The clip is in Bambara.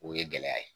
O ye gɛlɛya ye